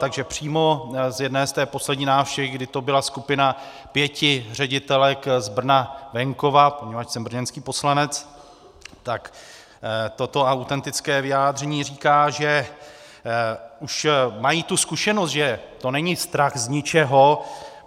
Takže přímo z jedné, z té poslední návštěvy, kdy to byla skupina pěti ředitelek z Brna-venkova, poněvadž jsem brněnský poslanec, tak toto autentické vyjádření říká, že už mají tu zkušenost, že to není strach z ničeho.